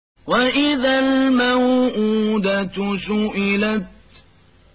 وَإِذَا الْمَوْءُودَةُ سُئِلَتْ